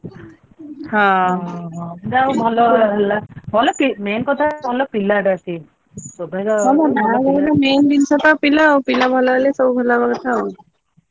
ହଁ ଯାହା ହଉ ଭଲ ହେଲା, main କଥା ହେଲା ଭଲ ପିଲାଟା ସେ ବାହାଘରର main ଜିନିଷ ତ ପିଲା ଆଉ।